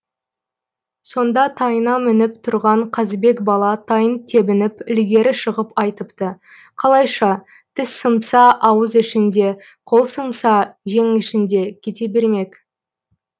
сонда тайына мініп тұрған қазыбек бала тайын тебініп ілгері шығып айтыпты қалайша тіс сынса ауыз ішінде қол сынса жең ішінде кете бермек